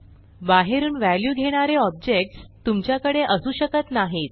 बाहेरून व्हॅल्यू घेणारे ऑब्जेक्ट्स तुमच्याकडे असू शकत नाहीत